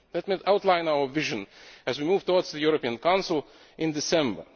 Let me outline our vision as we move towards the European Council in December.